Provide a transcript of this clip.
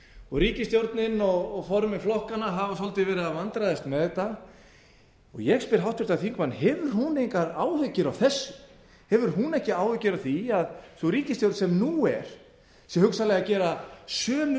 og ríkisstjórnin og formenn flokkanna hafa svolítið verið að vandræðast með þetta ég spyr háttvirtan þingmann hefur hún engar áhyggjur af þessu hefur hún ekki áhyggjur af því að sú ríkisstjórn sem nú er sé hugsanlega að gera sömu